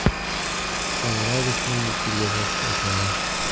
Shomurodovni bu pulga sotish osonroq.